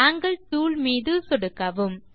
angle tool மீது சொடுக்கவும்